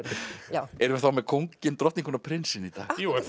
já erum við þá með kónginn drottninguna og prinsinn í dag já er